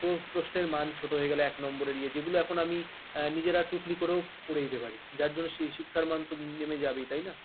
পুরো প্রশ্নের মান ছোট হয়ে গেল এক number এজে এখন আমি নিজেরা টুকলি করো করে দিতে পারি তার জন্য সে শিক্ষার মান নেমে যাবে তাই না